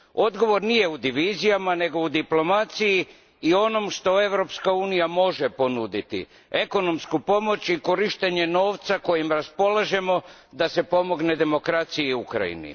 Odgovor nije u divizijama, nego u diplomaciji i onome što Europska unija može ponuditi, ekonomsku pomoć i korištenje novca kojim raspolažemo da se pomogne demokraciji i Ukrajini.